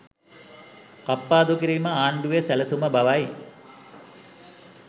කප්පාදු කිරීම ආණ්ඩුවේ සැලසුම බවයි